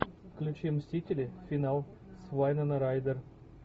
включи мстители финал с вайнона райдер